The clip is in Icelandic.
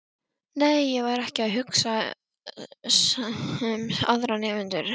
Nei, ég var ekki að hugsa um aðra nemendur.